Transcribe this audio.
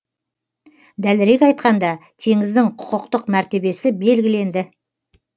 дәлірек айтқанда теңіздің құқықтық мәртебесі белгіленді